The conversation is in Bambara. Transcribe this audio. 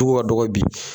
Tugu ka dɔgɔ bi